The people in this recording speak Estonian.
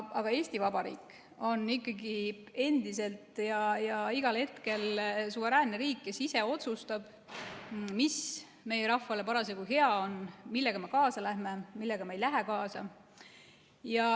Aga Eesti Vabariik on ikkagi endiselt ja igal hetkel suveräänne riik, kes ise otsustab, mis meie rahvale parasjagu hea on, millega me kaasa läheme, millega me ei lähe kaasa.